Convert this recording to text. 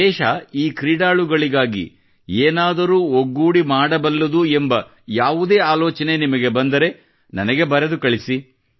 ದೇಶ ಈ ಕ್ರೀಡಾಳುಗಳಿಗಾಗಿ ಏನಾದರೂ ಒಗ್ಗೂಡಿ ಮಾಡಬಲ್ಲದು ಎಂಬ ಯಾವುದೇ ಆಲೋಚನೆ ನಿಮಗೆ ಬಂದರೆ ನನಗೆ ಬರೆದು ಕಳಿಸಿ